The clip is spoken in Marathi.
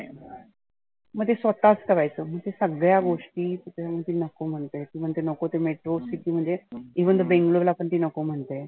मग ते स्वतःच करायचं सगळ्या गोष्टी त्याच्या मुळे ती नको म्हणते. म्हणते नको ती metro city म्हणते. even ती Bangalore नको म्हणते.